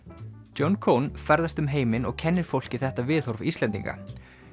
John ferðast um heiminn og kennir fólki þetta viðhorf Íslendinga